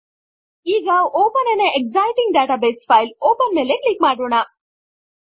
ಈಗ open an existing database file option ಮೇಲೆ click ಮಾಡೋಣ